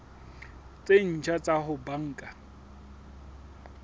tse ntjha tsa ho banka